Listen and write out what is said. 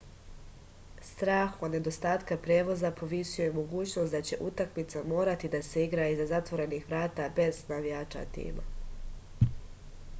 strah od nedostatka prevoza povisio je mogućnost da će utakmica morati da se igra iza zatvorenih vrata bez navijača tima